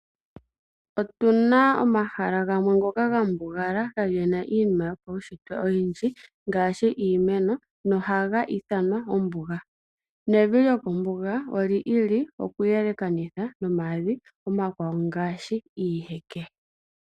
Otu na omahala gamwe ngoka ga mbugala, kaagena iinima oyindji yopaushitwe ngaashi iimeno, noha ga ithanwa ombuga. Evi lyokombuga olya yooloka komavi omakwawo ngaashi gomiiheke.